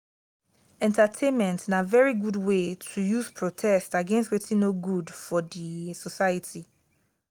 entertainment na very good way to use protest against wetin no good for di society